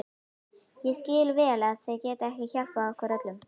Ég skil vel að þið getið ekki hjálpað okkur öllum.